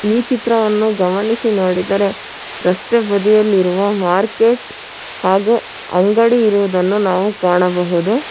ಈ ಚಿತ್ರವನ್ನು ಗಮನಿಸಿ ನೋಡಿದರೆ ರಸ್ತೆ ಬದಿಯಲ್ಲಿರುವ ಮಾರ್ಕೆಟ್ ಹಾಗೂ ಅಂಗಡಿ ಇರುವುದನ್ನು ನಾವು ಕಾಣಬಹುದು.